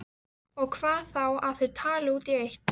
Og hvað þá að þau tali út í eitt.